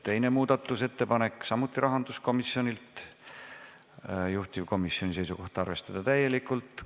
Teine muudatusettepanek, samuti rahanduskomisjonilt, juhtivkomisjoni seisukoht: arvestada täielikult.